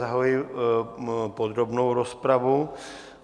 Zahajuji podrobnou rozpravu.